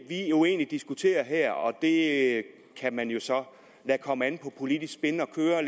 jo egentlig diskuterer her og det kan man jo så lade komme an på politisk spin